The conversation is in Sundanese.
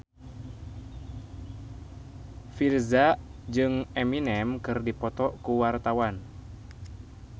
Virzha jeung Eminem keur dipoto ku wartawan